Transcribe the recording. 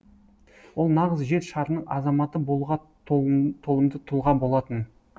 ол нағыз жер шарының азаматы болуға толымды тұлға болатын